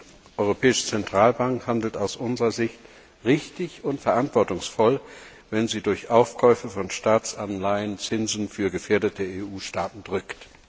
Die Europäische Zentralbank handelt aus unserer Sicht richtig und verantwortungsvoll, wenn sie durch Aufkäufe von Staatsanleihen Zinsen für gefährdete EU Staaten drückt.